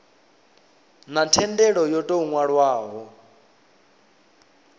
na thendelo yo tou nwalwaho